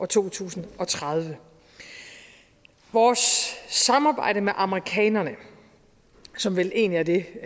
to tusind og tredive vores samarbejde med amerikanerne som vel egentlig er det